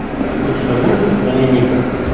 у тебя будет доминика